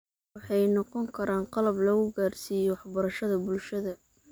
Waxay noqon karaan qalab lagu gaadhsiiyo waxbarashada bulshada.